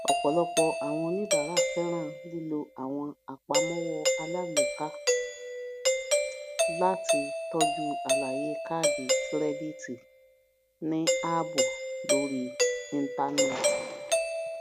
ọpọlọpọ àwọn oníbàárà fẹràn lílo àwọn apàmọwọ alágbèéká um láti tọju àlàyé kàádì kìrẹdìtì ní ààbò lórí ìntánẹẹtì